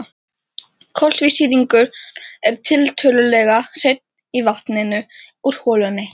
Koltvísýringur er tiltölulega hreinn í vatninu úr holunni.